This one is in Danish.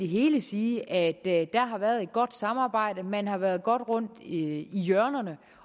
helhed sige at der har været et godt samarbejde man har været godt rundt i hjørnerne